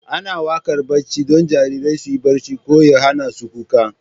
Ana waƙar barci don jarirai su yi barci ko ya hana su kuka.